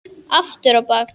Aftur á bak.